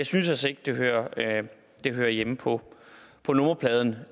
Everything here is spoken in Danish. synes altså ikke det hører det hører hjemme på på nummerpladen